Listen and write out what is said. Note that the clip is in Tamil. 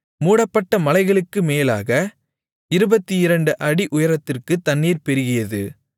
மூடப்பட்ட மலைகளுக்கு மேலாகப் 22 அடி உயரத்திற்குத் தண்ணீர் பெருகியது